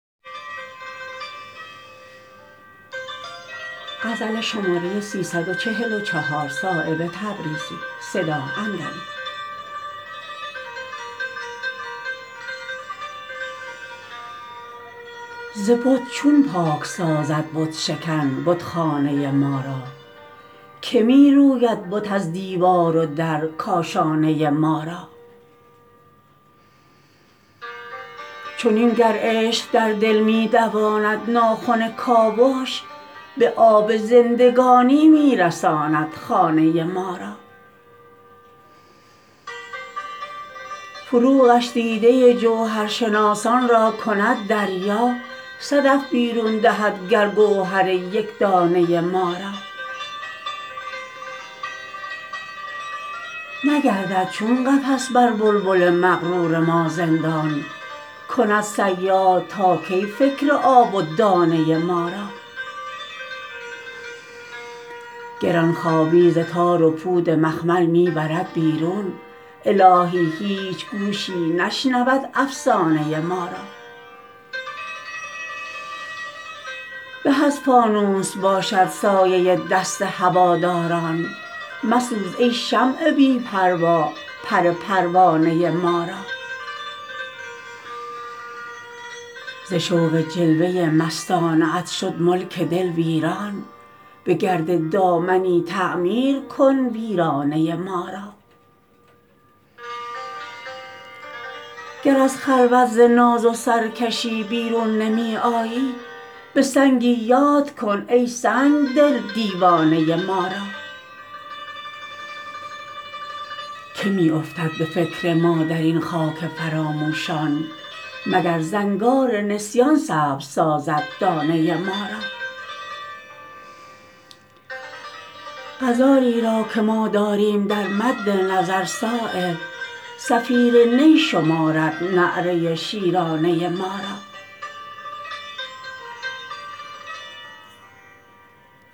ز بت چون پاک سازد بت شکن بتخانه ما را که می روید بت از دیوار و در کاشانه ما را چنین گر عشق در دل می دواند ناخن کاوش به آب زندگانی می رساند خانه ما را فروغش دیده جوهرشناسان را کند دریا صدف بیرون دهد گر گوهر یکدانه ما را نگردد چون قفس بر بلبل مغرور ما زندان کند صیاد تا کی فکر آب و دانه ما را گرانخوابی ز تار و پود مخمل می برد بیرون الهی هیچ گوشی نشنود افسانه ما را به از فانوس باشد سایه دست هواداران مسوز ای شمع بی پروا پر پروانه ما را ز شوق جلوه مستانه ات شد ملک دل ویران به گرد دامنی تعمیر کن ویرانه ما را گر از خلوت ز ناز و سرکشی بیرون نمی آیی به سنگی یاد کن ای سنگدل دیوانه ما را که می افتد به فکر ما درین خاک فراموشان مگر زنگار نسیان سبز سازد دانه ما را غزالی را که ما داریم در مد نظر صایب صفیر نی شمارد نعره شیرانه ما را